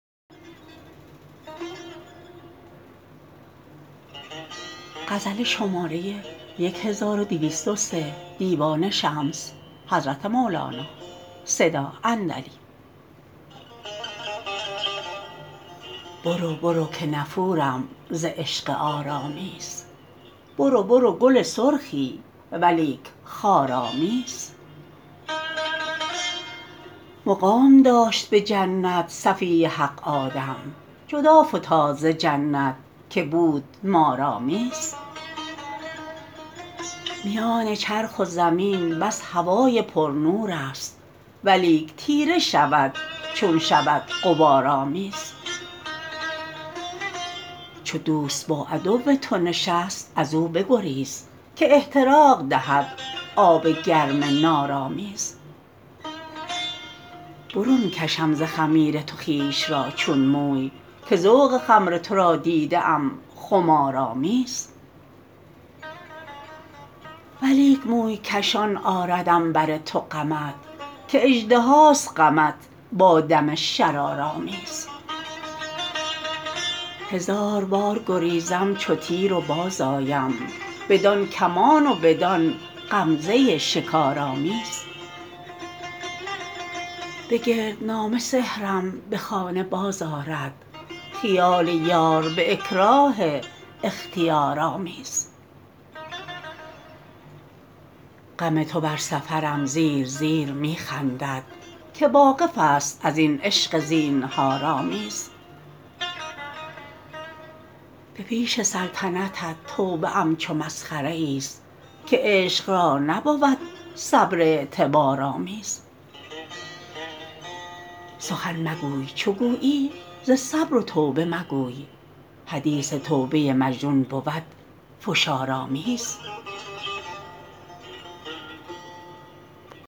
برو برو که نفورم ز عشق عارآمیز برو برو گل سرخی ولیک خارآمیز مقام داشت به جنت صفی حق آدم جدا فتاد ز جنت که بود مارآمیز میان چرخ و زمین بس هوای پرنورست ولیک تیره شود چون شود غبارآمیز چو دوست با عدو تو نشست از او بگریز که احتراق دهد آب گرم نارآمیز برون کشم ز خمیر تو خویش را چون موی که ذوق خمر تو را دیده ام خمارآمیز ولیک موی کشان آردم بر تو غمت که اژدهاست غمت با دم شرارآمیز هزار بار گریزم چو تیر و بازآیم بدان کمان و بدان غمزه شکارآمیز به گردنامه سحرم به خانه بازآرد خیال یار به اکراه اختیارآمیز غم تو بر سفرم زیر زیر می خندد که واقفست از این عشق زینهارآمیز به پیش سلطنت توبه ام چو مسخره ایست که عشق را نبود صبر اعتبارآمیز سخن مگوی چو گویی ز صبر و توبه مگوی حدیث توبه مجنون بود فشارآمیز